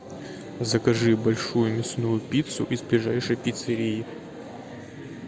закажи большую мясную пиццу из ближайшей пиццерии